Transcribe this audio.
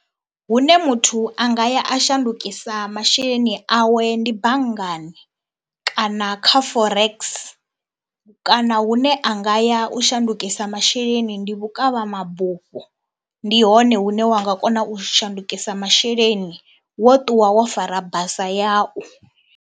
Hune muthu a nga ya a shandukisa masheleni awe ndi banngani kana kha Forex kana hune a nga ya u shandukisa masheleni ndi vhukavhamabufho, ndi hone hune wa nga kona u shandukisa masheleni wo ṱuwa wo fara basa yau.